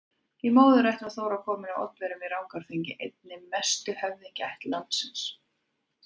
Í móðurætt var Þóra komin af Oddaverjum í Rangárþingi, einni mestu höfðingjaætt landsins.